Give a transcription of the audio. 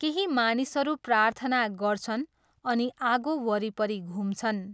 केही मानिसहरू प्रार्थना गर्छन् अनि आगो वरिपरि घुम्छन्।